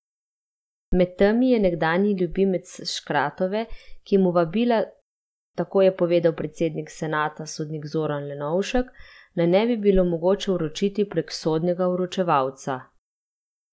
Med temi je nekdanji ljubimec Škratkove, ki mu vabila, tako je povedal predsednik senata sodnik Zoran Lenovšek, naj ne bi bilo mogoče vročiti prek sodnega vročevalca.